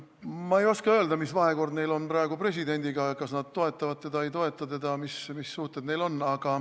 Ma ei oska öelda, mis vahekord neil on praegu presidendiga, kas nad toetavad teda või ei toeta, mis suhted neil on.